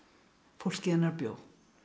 fólkið hennar bjó